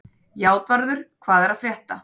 Játvarður, hvað er að frétta?